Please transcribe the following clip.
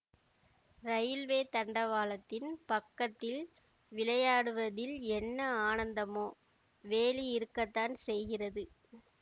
railway தண்டவாளத்தின் பக்கத்தில் விளையாடுவதில் என்ன ஆனந்தமோ வேலி இருக்கத்தான் செய்கிறது